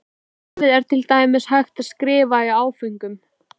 Bréfið er til dæmis hægt að skrifa í áföngum.